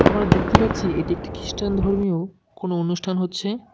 আমরা দেখতে পারছি এটি একটি খ্রিস্টান ধর্মীয় কোনও অনুষ্ঠান হচ্ছে।